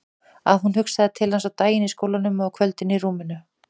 Að hún hugsaði til hans á daginn í skólanum og á kvöldin í rúminu.